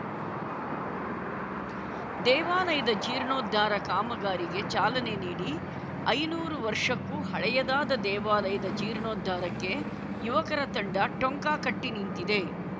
ದೇವಾಲಯದ ಜೀರ್ಣೋದ್ಧಾರ ಕಾಮಗಾರಿಗೆ ಚಾಲನೆ ನೀಡಿ ಐನೂರು ವರ್ಷಕ್ಕೂ ಹಳೆಯದಾದ ದೇವಾಲಯದ ಜೀರ್ಣೋದ್ಧಾರಕ್ಕೆ ಯುವಕರ ತಂಡ ಟೊಂಕ ಕಟ್ಟಿನಿಂತಿದೆ